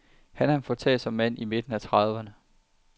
Han er en foretagsom mand i midten af trediverne.